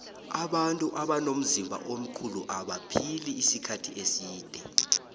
abantu abanomzimba omkhulu abaphili isikhathi eside